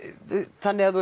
þannig að þú